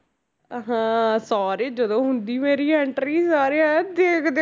ਅਹ ਹਾਂ ਸਾਰੇ ਜਦੋਂ ਹੁੰਦੀ ਮੇਰੀ entry ਸਾਰੇ ਇਉਂ ਦੇਖਦੇ